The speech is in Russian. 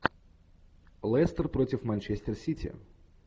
лестер против манчестер сити